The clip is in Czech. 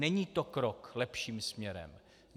Není to krok lepším směrem.